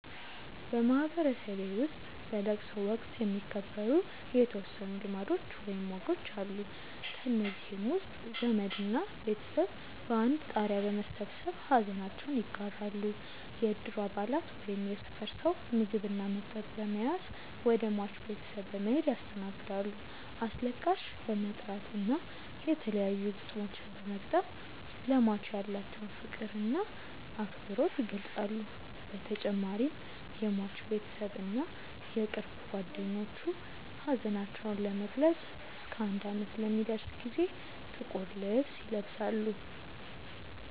በማህበረሰቤ ውስጥ በለቅሶ ወቅት የሚከበሩ የተወሰኑ ልማዶች ወይም ወጎች አሉ። ከእነዚህም ውስጥ ዘመድ እና ቤተሰብ በአንድ ጣሪያ በመሰብሰብ ሐዘናቸውን ይጋራሉ፣ የእድሩ አባላት ወይም የሰፈር ሰው ምግብ እና መጠጥ በመያዝ ወደ ሟች ቤተሰብ በመሔድ ያስተናግዳሉ፣ አስለቃሽ በመጥራት እና የተለያዩ ግጥሞችን በመግጠም ለሟች ያላቸውን ፍቅር እና አክብሮት ይገልፃሉ በተጨማሪም የሟች ቤተሰብ እና የቅርብ ጓደኞቹ ሀዘናቸውን ለመግለፅ እስከ አንድ አመት ለሚደርስ ጊዜ ጥቁር ልብስ ይለብሳሉ።